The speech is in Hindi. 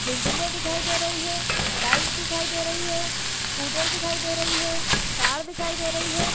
बिल्डिंगे दिखाई दे रही है बाइक दिखाई दे रही है स्कूटर दिखाई दे रही है कार दिखाई दे रही है।